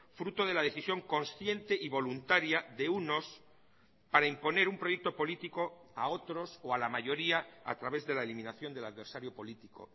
fruto de la decisión consciente y voluntaria de unos para imponer un proyecto político a otros o a la mayoría a través de la eliminación del adversario político